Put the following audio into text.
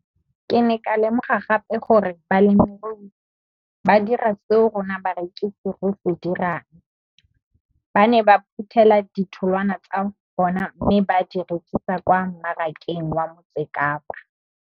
Ke ne ka lemoga gape gore balemirui ba dira seo rona barekisi re se dirang, ba ne ba phuthela ditholwana tsa bona mme ba di rekisa kwa marakeng wa Motsekapa.